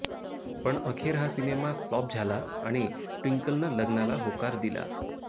पण अखेर हा सिनेमा फ्लॉप झाला आणि ट्विंकलनं लग्नाला होकार दिला